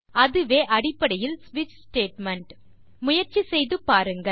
இதுவே அடிப்படையில் ஸ்விட்ச் ஸ்டேட்மெண்ட் முயற்சி செய்து பாருங்கள்